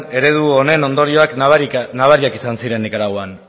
eredu honen ondorioak nabariak izan ziren nikaraguan